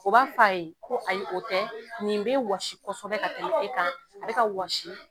O b'a fɔ a ye ko ayi o tɛ nin bɛ wɔsi kɔsɛbɛ ka tɛmɛ e kan a bɛ ka wɔsi.